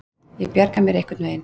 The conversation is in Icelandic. Ég bjarga mér einhvern veginn.